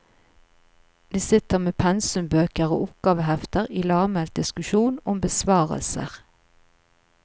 De sitter med pensumbøker og oppgavehefter, i lavmælt diskusjon om besvarelser.